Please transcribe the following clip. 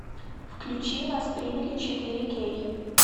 включи нас приняли четыре кей